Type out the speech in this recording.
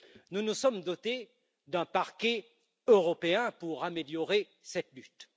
Nous nous sommes dotés d'un Parquet européen pour améliorer cette lutte.